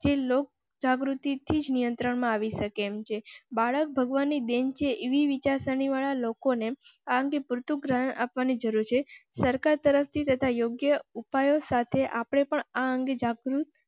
જે લોક જાગૃતિ થી નિયંત્રણ માં આવી શકે. બાળક ભગવાન ની ડેરી જેવી વિચારસરણી વાળા લોકોને આ અંગે પૂરતું ગ્રહણ આપવા ની જરૂર છે. સરકાર તરફથી તથા યોગ્ય ઉપાયો સાથે આપ ને પણ આ અંગે જાગૃત